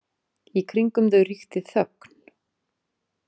Í kringum þau ríkti þögn.